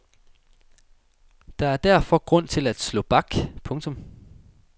Der er derfor grund til at slå bak. punktum